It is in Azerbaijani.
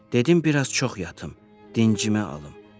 Dedim biraz çox yatım, dincimi alım.